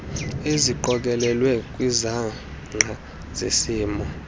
eziqokelelwe kwizangqa zesimo